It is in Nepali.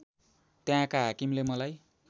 त्यहाँका हाकिमले मलाई